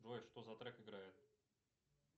джой что за трек играет